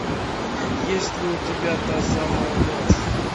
есть ли у тебя та самая ночь